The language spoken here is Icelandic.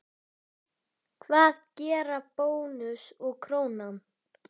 Hvað gera Bónus og Krónan?